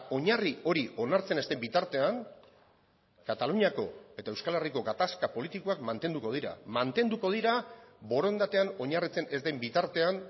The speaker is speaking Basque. oinarri hori onartzen ez den bitartean kataluniako eta euskal herriko gatazka politikoak mantenduko dira mantenduko dira borondatean oinarritzen ez den bitartean